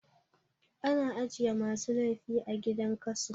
A na ajiye masu laifi a gidan kaso